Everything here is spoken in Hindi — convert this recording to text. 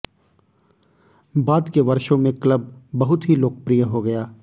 बाद के वर्षों में क्लब बहुत ही लोकप्रिय हो गया